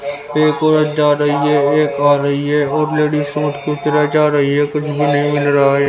एक औरत जा रही है एक आ रही है और लेडिज जा रही है कुछ भी नहीं मिल रहा है।